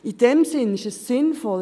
In diesem Sinn ist es hier sinnvoll.